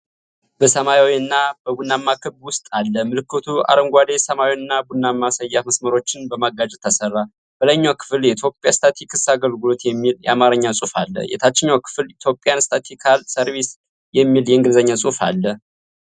በሰማያዊና በቡናማ ክብ ውስጥ አለ። ምልክቱ አረንጓዴ፣ ሰማያዊና ቡናማ ሰያፍ መስመሮችን በማጋጨት ተሠራ። በላይኛው ክፍል “የኢትዮጵያ ስታትስቲክስ አገልግሎት” የሚል የአማርኛ ጽሑፍ አለ። የታችኛው ክፍል "ኢትዮጵያን ስታቲስቲካል ሰርቪስ" የሚል የእንግሊዝኛ ጽሑፍ አለው።